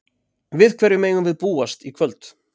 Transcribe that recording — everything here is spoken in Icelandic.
Við hverju megum við búast í kvöld?